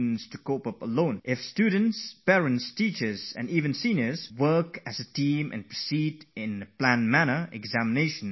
If teachers, parents and even senior students all combine to form a team, a unit with a common thinking, and in a planned way move forward, then exams become a lot easier